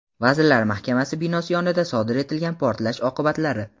Vazirlar Mahkamasi binosi yonida sodir etilgan portlash oqibatlari.